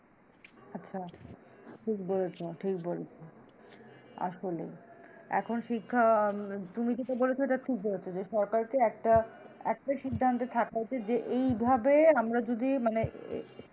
আচ্ছা ঠিক বলেছো ঠিক বলেছো আসলে এখন শিক্ষা আহ তুমি যেটা বলেছো সেটা ঠিক বলেছো যে সরকারকে একটা, একটা সিদ্ধান্তে থাকা উচিৎ যে এইভাবে আমরা যদি মানে